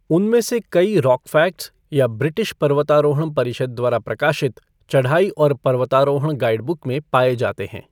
उनमें से कई रॉकफ़ैक्ट्स या ब्रिटिश पर्वतारोहण परिषद द्वारा प्रकाशित चढ़ाई और पर्वतारोहण गाइडबुक में पाए जाते हैं।